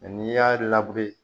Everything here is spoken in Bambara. n'i y'a